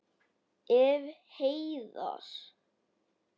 Ef. heiðar